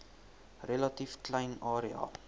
relatief klein area